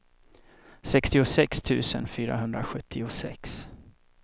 sextiosex tusen fyrahundrasjuttiosex